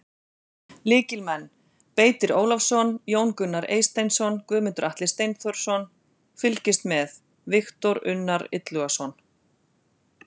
Lykilmenn: Beitir Ólafsson, Jón Gunnar Eysteinsson, Guðmundur Atli Steinþórsson: Fylgist með: Viktor Unnar Illugason.